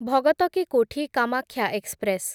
Bhagat ki Kothi Kamakhya express